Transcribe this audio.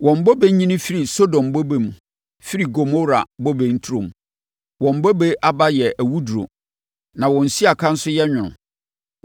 Wɔn bobe nyini firi Sodom bobe mu firi Gomora bobe nturom. Wɔn bobe aba yɛ awuduro na wɔn siaka nso yɛ nwono.